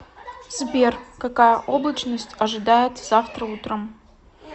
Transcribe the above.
сбер какая облачность ожидается завтра утром